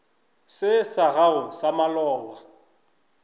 se sa gago sa maloba